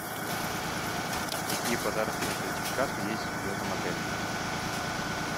какие подарочные сертификаты есть в этом отеле